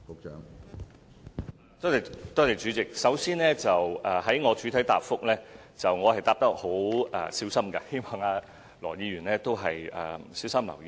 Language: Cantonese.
主席，第一，我在作出主體答覆時是十分小心，希望羅議員也留意。